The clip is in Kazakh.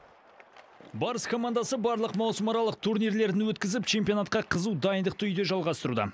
барыс командасы барлық маусымаралық турнирлерін өткізіп чемпионатқа қызу дайындықты үйде жалғастыруда